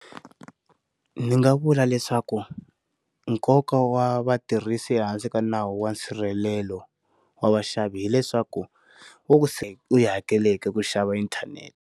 Ndzi nga vula leswaku nkoka wa vatirhisi ehansi ka nawu wa nsirhelelo wa vaxavi hileswaku wo ku se u yi hakeleki ku xava inthanete.